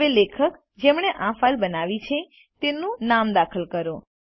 હવે લેખક જેમણે આ ફાઈલ બનાવી છે તેમનું નામ દાખલ કરો